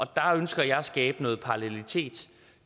der ønsker jeg at skabe noget parallelitet